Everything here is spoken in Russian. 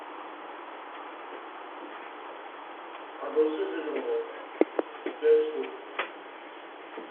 огурцы зеленые пять штук